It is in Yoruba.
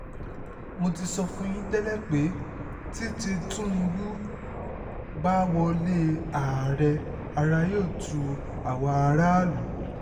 mo ti sọ fún yín tẹ́lẹ̀ pé tí tìtúngbù bá wọlé àárẹ̀ ara yóò tu àwa aráàlú